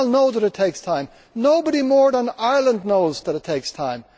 We all know that it takes time. Nobody more than Ireland knows that it takes time.